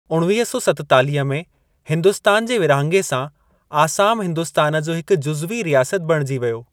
उणवीह सौ सतेतालीह में हिंदुस्तान जे विरहाङे सां, आसाम हिन्दुस्तान जो हिकु जुज़वी रियासत बणिजी वियो।